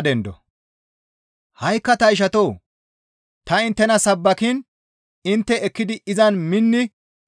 Ha7ikka ta ishatoo! Ta inttena sabbakiin intte ekkidi izan minni